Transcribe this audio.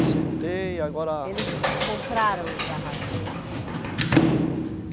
Aceitei, agora. Eles compraram os barracos, é isso?